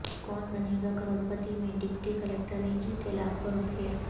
کون Banega Crorepati میں deputy کلکٹرنے جیتے لاکھوں روپئے